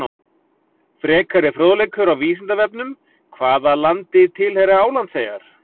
Frekari fróðleikur á Vísindavefnum Hvaða landi tilheyra Álandseyjar?